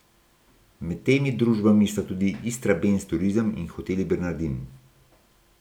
Med temi družbami sta tudi Istrabenz turizem in Hoteli Bernardin.